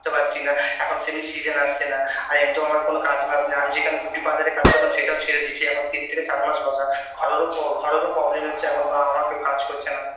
তে পারছি না এখন সেমনি season আসছে না আর এমনিতেও আমার কোন কাজ বাজ নেই আমি যেখানে beauty parlour -এ কাজ করতাম সেটাও ছেড়ে দিয়েছি এখন তিন থেকে চার মাস বসা ঘরেরও ঘরের ও problem হচ্ছে এখন বাবা মা কেউ কাজ করছে না